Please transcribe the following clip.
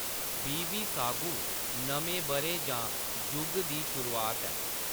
बिविसागु नमें बʼरे जां जुग दी शुरुआत ऐ।